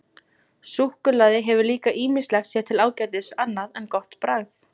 Súkkulaði hefur líka ýmislegt sér til ágætis annað en gott bragð.